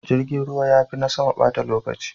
Jirgin ruwa ya fi na sama bata lokaci.